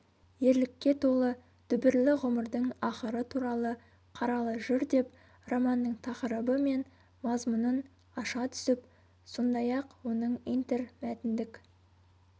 ерлікке толы дүбірлі ғұмырдың ақыры туралы қаралы жыр деп романның тақырыбы мен мазмұнын аша түсіп сондай-ақ оның интермәтіндік